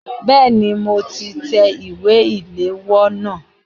Bẹ́ẹ̀ni, mo ti tẹ ìwé ìléwọ́ náà.